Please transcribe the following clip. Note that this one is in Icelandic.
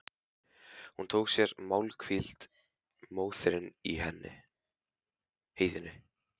Hún tók sér málhvíld, móðirin í heiðinni.